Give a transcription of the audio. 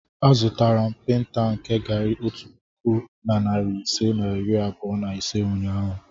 Azụtara m paintal nke garri otu puku na narị ise na iri abụọ na ise ụnyahụ.